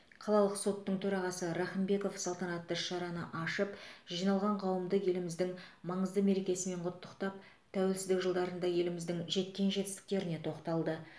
қалалық соттың төрағасы рахымбеков салтанатты іс шараны ашып жиналған қауымды еліміздің маңызды мерекесімен құттықтап тәуелсіздік жылдарында еліміздің жеткен жетістіктеріне тоқталды